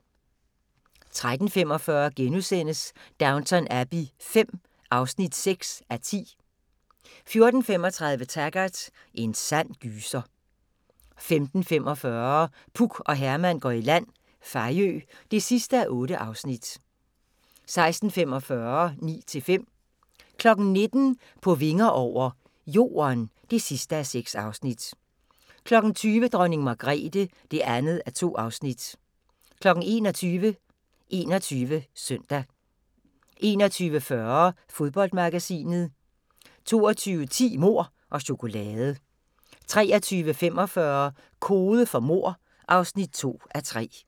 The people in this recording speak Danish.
13:45: Downton Abbey V (6:10)* 14:35: Taggart: En sand gyser 15:45: Puk og Herman går i land – Fejø (8:8) 16:45: Ni til fem 19:00: På vinger over – Jorden (6:6) 20:00: Dronning Margrethe (2:2) 21:00: 21 Søndag 21:40: Fodboldmagasinet 22:10: Mord og chokolade 23:45: Kode for mord (2:3)